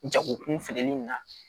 Jagokun feereli in na